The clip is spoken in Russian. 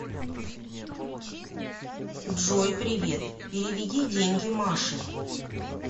джой привет переведи деньги маше